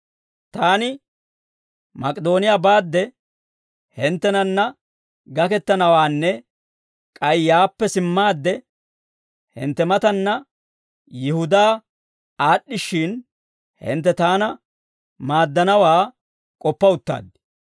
Taani Mak'idooniyaa baadde hinttenanna gakettanawaanne k'ay yaappe simmaadde hintte mataanna Yihudaa aad'd'ishshin, hintte taana maaddanawaa k'oppa uttaad.